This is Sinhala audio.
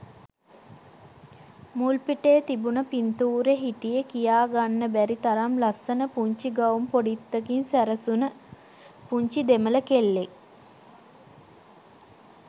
මුල්පිටේ තිබුණ පින්තූරෙ හිටියෙ කියා ගන්න බැරි තරම් ලස්සන පුංචි ගවුම් පොඩිත්තකින් සැරසුණ පුංචි දෙමළ කෙල්ලෙක්.